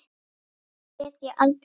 Því get ég aldrei gleymt.